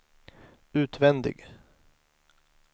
utvändig